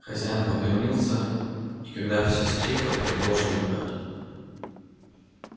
хозяин поклонился и когда всё стихло продолжал играть